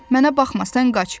Mənə baxma, sən qaç.